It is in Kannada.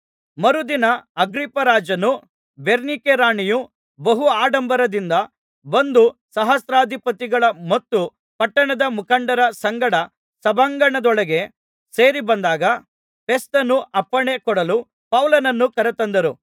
ಮರುದಿನ ಅಗ್ರಿಪ್ಪರಾಜನೂ ಬೆರ್ನಿಕೆರಾಣಿಯೂ ಬಹು ಆಡಂಬರದಿಂದ ಬಂದು ಸಹಸ್ರಾಧಿಪತಿಗಳ ಮತ್ತು ಪಟ್ಟಣದ ಮುಖಂಡರ ಸಂಗಡ ಸಭಾಂಗಣದೊಳಗೆ ಸೇರಿಬಂದಾಗ ಫೆಸ್ತನು ಅಪ್ಪಣೆ ಕೊಡಲು ಪೌಲನನ್ನು ಕರತಂದರು